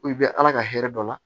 I bɛ ala ka hɛrɛ dɔ la